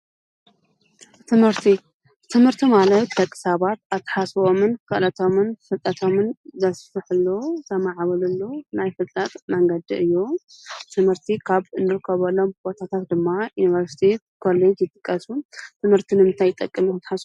ትምህርቲ፡- ትምህርቲ ማለት ደቂ ሰባት ኣተሓሳስበኦምን ክእለቶምን ፍልጠቶምን ዘስፍሕሉ፣ ዘማዕብልሉ ናይ ፍልጠት መንገዲ እዩ፡፡ ትምህርቲ ካብ ዝርከበሎም ቦታታት ድማ ዩኒቨርስቲ፣ ኮሌጅ ይጥቀሱ፡፡ ትምህርቲ ንምንታይ ይጠቅም ኢልኩም ትሓስቡ?